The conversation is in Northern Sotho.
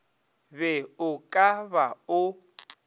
be o ka ba o